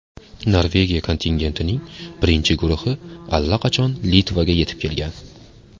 Norvegiya kontingentining birinchi guruhi allaqachon Litvaga yetib kelgan.